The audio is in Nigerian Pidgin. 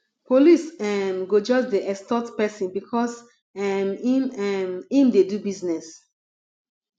police um go just dey extort pesin because um im um im dey do business